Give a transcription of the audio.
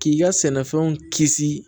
K'i ka sɛnɛfɛnw kisi